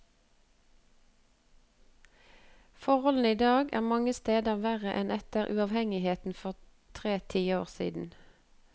Forholdene idag er mange steder verre enn etter uavhengigheten for tre tiår siden.